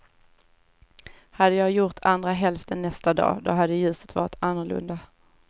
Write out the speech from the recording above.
Hade jag gjort andra hälften nästa dag, då hade ljuset varit annorlunda.